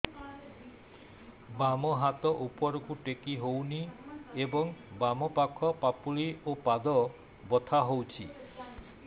ବାମ ହାତ ଉପରକୁ ଟେକି ହଉନି ଏବଂ ବାମ ପାଖ ପାପୁଲି ଓ ପାଦ ବଥା ହଉଚି